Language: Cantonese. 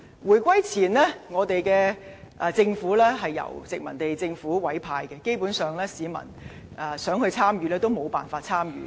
回歸前，政府高官由殖民地政府委派，基本上，市民參與無從。